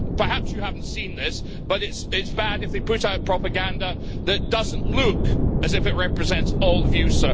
Perhaps you have not seen this, but it is bad if they put out propaganda that does not look as if it represents all the views.